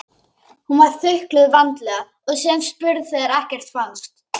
Hún var þukluð vandlega og síðan spurð þegar ekkert fannst.